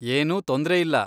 ಏನೂ ತೊಂದ್ರೆಯಿಲ್ಲ.